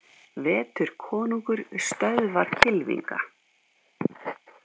Vetur konungur stöðvar kylfinga